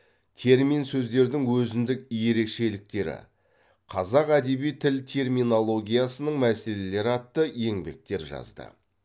термин сөздердің өзіндік ерекшеліктері қазақ әдеби тіл терминологиясының мәселелері атты еңбектер жазды